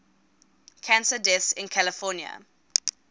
cancer deaths in california